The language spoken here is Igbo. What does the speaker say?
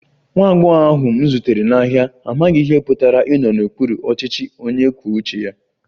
Nwa agbọghọ ahụ m zutere n'ahịa amaghị ihe ọ pụtara ịnọ n'okpuru ọchịchị onye kwuo uche ya